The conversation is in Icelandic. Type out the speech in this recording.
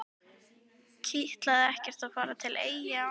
Kitlaði ekkert að fara til Eyja á ný?